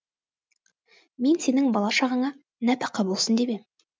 мен сенің бала шағаңа нәпақа болсын деп ем